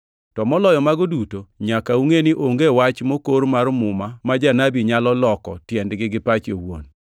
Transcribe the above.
To moloyo mago duto, nyaka ungʼe ni onge wach mokor mar Muma ma janabi nyalo loko tiendgi gi pache owuon.